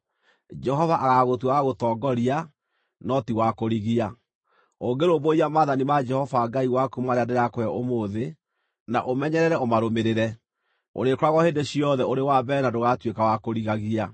Jehova agaagũtua wa gũtongoria, no ti wa kũrigia. Ũngĩrũmbũiya maathani ma Jehova Ngai waku marĩa ndĩrakũhe ũmũthĩ, na ũmenyerere ũmarũmĩrĩre, ũrĩkoragwo hĩndĩ ciothe ũrĩ wa mbere na ndũgatuĩka wa kũrigagia.